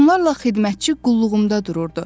Onlarla xidmətçi qulluğumda dururdu.